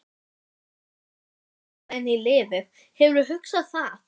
Hvar sérðu þig fitta inn í liðið, hefurðu hugsað það?